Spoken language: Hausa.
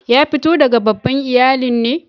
Ya fito daga babban iyallin ne?